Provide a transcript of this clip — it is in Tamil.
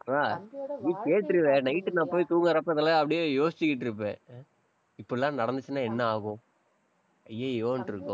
அஹ் நீ கேட்ருவ, night உ நான் போய் தூங்கறப்ப, இதெல்லாம் அப்படியே யோசிச்சுக்கிட்டு இருப்பேன் அஹ் இப்படி எல்லாம் நடந்துச்சுன்னா என்ன ஆகும்? ஐயையோன்னு இருக்கும்.